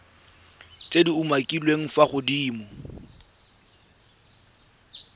tse di umakiliweng fa godimo